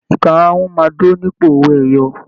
Ìkarahun máa dúró nípò owó ẹyọ